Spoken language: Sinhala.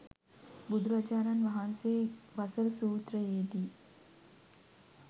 බුදුරජාණන් වහන්සේ වසල සූත්‍රයේ දී